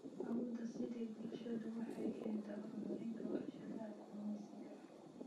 Awood-siinta bulshadu waxay keentaa horumarka warshadaha kalluumaysiga.